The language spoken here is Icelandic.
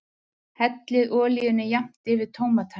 Hellið olíunni jafnt yfir tómatana.